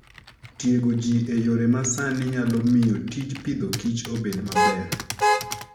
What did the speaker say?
Tiego ji e yore ma sani nyalo miyo tij Agriculture and Food obed maber.